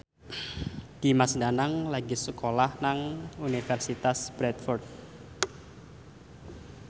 Dimas Danang lagi sekolah nang Universitas Bradford